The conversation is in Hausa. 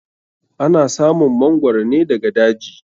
Ana samun mangoro ne daga daji.